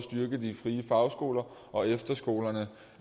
de frie fagskoler og efterskolerne